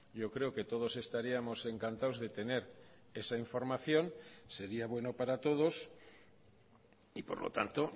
yo creo que todos estaríamos encantados de tener esa información sería bueno para todos y por lo tanto